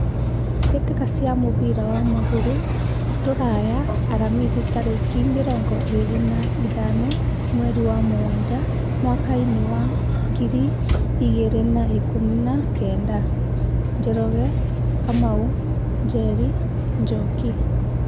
Mbĩtĩka cia mũbira wa magũrũ Ruraya Aramithi tarĩki mĩrongo ĩrĩ na ithano mweri wa mũgwanja mwakainĩ wa ngiri igĩrĩ na ikũmi na kenda : Njoroge, Kamau, Njeri, Njoki.